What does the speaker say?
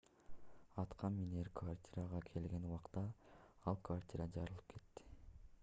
аткаминер квартирага келген убакта ал квартира жарылып кетти